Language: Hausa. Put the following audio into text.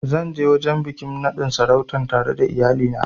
Zan ja wajen biƙin sarautan tare da iyali na